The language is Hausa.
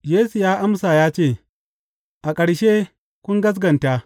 Yesu ya amsa ya ce, A ƙarshe kun gaskata!